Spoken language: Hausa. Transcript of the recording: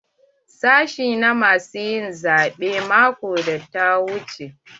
Sashi na mu sun yi zabe maƙon da ta wuche.